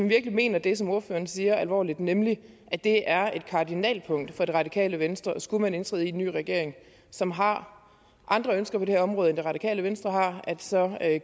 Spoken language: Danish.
virkelig mener det man siger alvorligt nemlig at det er et kardinalpunkt for det radikale venstre og skulle man indtræde i en ny regering som har andre ønsker på det her område end det radikale venstre har så